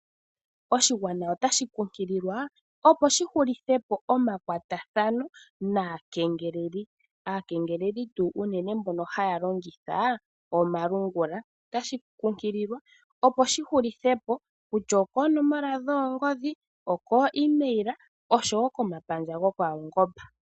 Oshigwana otashi kunkililwa opo shi hulithe po omakwatathano naakengeleli. Oshigwana otashi kunkililwa Aakengeleli uunene tuu mboka haya longitha omalungula, otashi kunkililwa opo shi hulithe po kutya okoonomola dhoongodhi oko email osho wo komapandja gopaungomba.